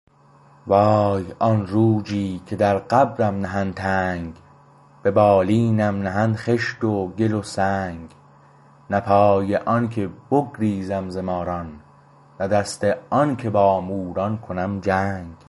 وای آن روجی که در قبرم نهند تنگ به بالینم نهند خشت و گل و سنگ نه پای آنکه بگریزم ز ماران نه دست آنکه با موران کنم جنگ